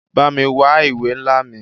Bámi wa ìwé nla mí.